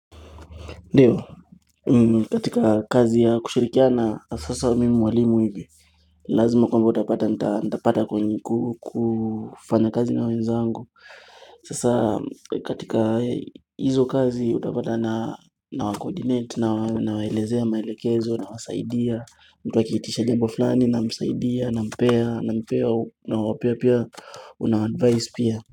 Ndiyo, katika kazi ya kushirikiana haswa sasa mimi mwalimu hivi Lazima kwamba utapata nitapata kufanya kazi na wenzangu Sasa katika hizo kazi utapata na wacoordinate nawalezea maelekezo nawasaidia mtu akiitisha jambo fulani namsaidia nampea nampea nawapea pia unawaadvise pia.